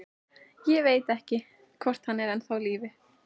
Ég veit ekki, hvort hann er ennþá á lífi.